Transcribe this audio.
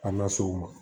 An na se o ma